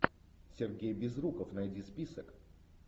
сергей безруков найди список